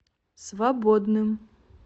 свободным